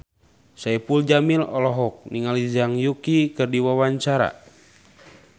Saipul Jamil olohok ningali Zhang Yuqi keur diwawancara